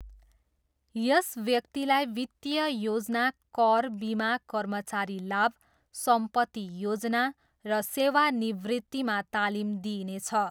यस व्यक्तिलाई वित्तीय योजना, कर, बिमा, कर्मचारी लाभ, सम्पत्ति योजना र सेवानिवृत्तिमा तालिम दिइनेछ।